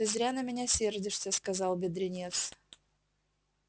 ты зря на меня сердишься сказал бедренец